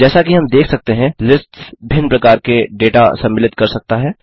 जैसा कि हम देख सकते हैं लिस्ट्स भिन्न प्रकार के डेटा सम्मिलित कर सकता है